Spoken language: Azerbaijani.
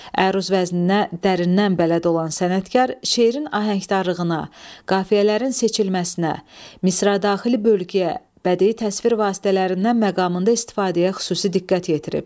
Əruz vəzninə dərindən bələd olan sənətkar şeirin ahəngdarlığına, qafiyələrin seçilməsinə, misradaxili bölgüyə, bədii təsvir vasitələrindən məqamında istifadəyə xüsusi diqqət yetirib.